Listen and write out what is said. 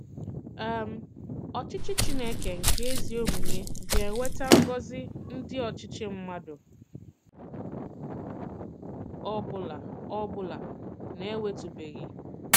um Òchìchì Chìnékè nke ezi òmùmè ga-ewetà ngọ̀zì ndị òchìchì mmàdù ọ̀bụ̀la ọ̀bụ̀la na-enwètụ̀bèghị.